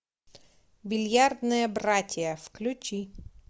бильярдные братья включи